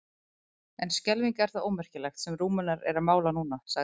En skelfing er það ómerkilegt sem Rúmenar eru að mála núna, sagði